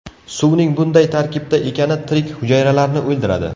Suvning bunday tarkibda ekani tirik hujayralarni o‘ldiradi.